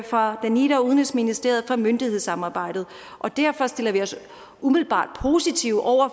fra danida og udenrigsministeriet kan for myndighedssamarbejdet og derfor stiller vi os umiddelbart positive over